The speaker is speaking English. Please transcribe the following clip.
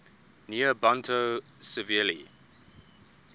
near ambato severely